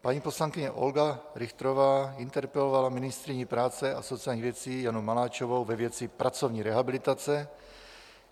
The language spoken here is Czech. Paní poslankyně Olga Richterová interpelovala ministryni práce a sociálních věcí Janu Maláčovou ve věci pracovní rehabilitace.